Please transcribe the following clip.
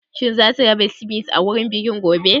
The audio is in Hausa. Shin zasu raba Sivice a wurin bikin gobe?